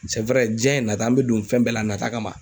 sɛ wɛrɛ jiyɛn ye nata ye an be don fɛn bɛɛ la a nata kama